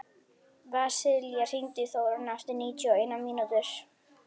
Vasilia, hringdu í Þórönnu eftir níutíu og eina mínútur.